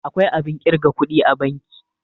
akwai abin kirga kudi a banki